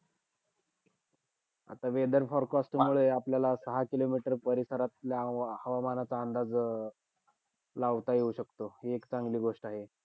आता weather forecast मध्ये आपल्याला दहा kilometre परिसरातल्या हवा~ हवामानाचा अंदाज अं लावता येऊ शकतो. हि एक चांगली गोष्ट आहे.